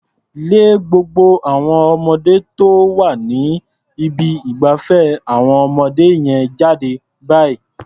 Lé gbogbo àwon ọmọ tó wà ní ibi ìgbafẹ́ àwọn ọmọdé yẹn jáde báyìí.